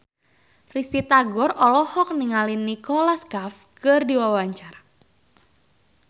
Risty Tagor olohok ningali Nicholas Cafe keur diwawancara